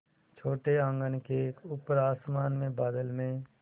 छोटे आँगन के ऊपर आसमान में बादल में